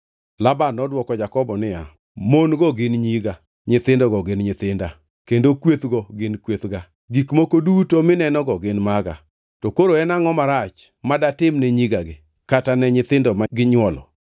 Laban nodwoko Jakobo niya, “Mon-go gin nyiga, nyithindogo gin nyithinda, kendo kwethgo gin kwethga. Gik moko duto minenogo gin maga. To koro en angʼo marach madatimne nyigagi, kata ne nyithindo ma ginywolo?